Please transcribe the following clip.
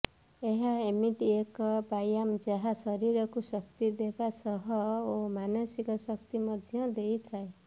ଏହା ଏମିତି ଏକ ବ୍ୟାୟମ ଯାହା ଶରୀରକୁ ଶକ୍ତି ଦେବା ସହ ଓ ମାନସିକ ଶାନ୍ତି ମଧ୍ୟ ଦେଇଥାଏ